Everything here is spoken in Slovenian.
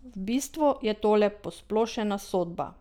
V bistvu je tole posplošena sodba.